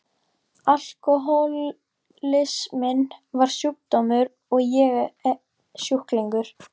Alkohólisminn var sjúkdómur og ég sjúklingur.